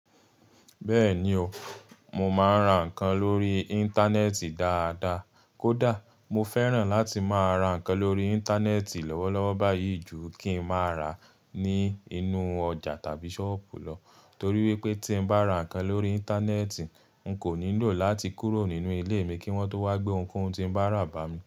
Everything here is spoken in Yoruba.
Bẹ́ẹ̀ni o, mo máa ń ra nǹkan lórí Íńtánẹ́ẹ̀tì dáadaa. Kódà mo fẹ́ràn láti máa ra nǹkan lórí Íńtánẹ́ẹ̀tì lówọ́lówọ́ báyìí ju kí ń máa ra ní inú ọjà tàbí ṣọ́ọ̀bù lọ. Torí wípé tí ń bá ra nǹkan lórí Íńtánẹ́ẹ̀tì, n kò nílò láti kúrò nínú ilé mi kí wọ́n tó wá gbé ohun tí ń bá rà bá mi.